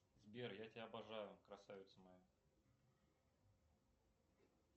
сбер я тебя обожаю красавица моя